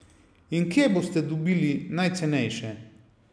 In kje boste dobili najcenejše?